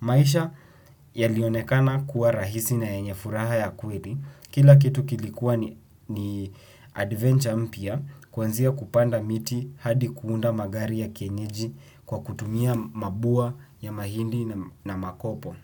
Maisha yalionekana kuwa rahisi na yenye furaha ya kweli. Kila kitu kilikuwa ni adventure mpya kuanzia kupanda miti hadi kuunda magari ya kienyeji kwa kutumia mabua ya mahindi na makopo.